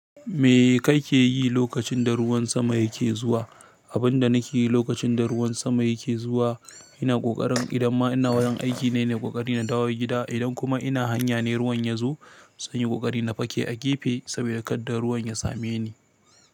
Me kake yi lokacin da ruwan sama yake zuwa? Abin da nake yi lokacin da ruwan sama yake zuwa, ina ƙoƙarin idanma ina wurin aiki ne ina yin ƙoƙari na dawo gida. Idan kuma ina hanya ne ruwan ya zo, zan yi ƙoƙarin na fake a gefe saboda kadda ruwan ya same ni.